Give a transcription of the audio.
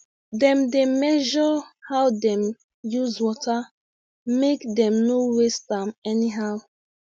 dem dey measure how dem use water make dem no waste am anyhow